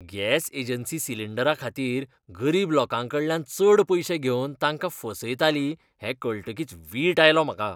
Gas agency सिलींडराखातीर गरीब लोकांकांकडल्यान चड पयशे घेवन तांकां फसयताली हें कळटकीच वीट आयलो म्हाका.